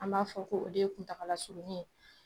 An b'a fɔ ko o de ye kuntagala surunnin ye